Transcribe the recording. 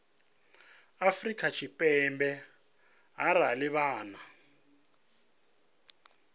afrika tshipembe arali vha nnḓa